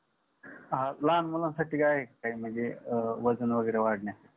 हा लहान मुलांसाठी काय काही म्हणजे वजन वगेरे वाढण्यास